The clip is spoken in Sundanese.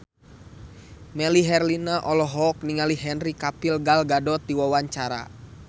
Melly Herlina olohok ningali Henry Cavill Gal Gadot keur diwawancara